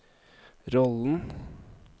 rollen